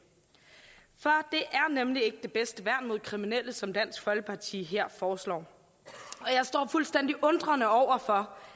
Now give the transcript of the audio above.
er nemlig ikke det bedste værn mod kriminelle som dansk folkeparti her foreslår og jeg står fuldstændig undrende over for